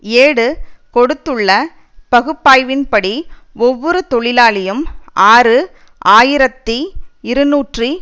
ஏடு கொடுத்துள்ள பகுப்பாய்வின்படி ஒவ்வொரு தொழிலாளியும் ஆறு ஆயிரத்தி இருநூற்றி